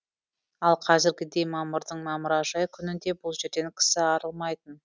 ал қазіргідей мамырдың мамыражай күнінде бұл жерден кісі арылмайтын